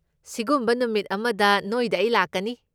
ꯁꯤꯒꯨꯝꯕ ꯅꯨꯃꯤꯠ ꯑꯃꯗ ꯅꯣꯏꯗ ꯑꯩ ꯂꯥꯛꯀꯅꯤ꯫